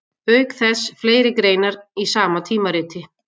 Auk þess fleiri greinar í sama tímariti.